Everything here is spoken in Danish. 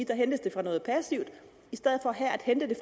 der hentes de fra noget passivt i stedet for her at hente